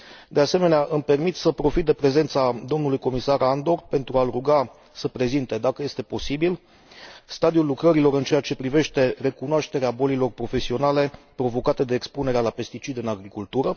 De asemenea, îmi permit să profit de prezența domnului comisar Andor pentru a l ruga să prezinte, dacă este posibil, stadiul lucrărilor în ceea ce privește recunoașterea bolilor profesionale provocate de expunerea la pesticide în agricultură.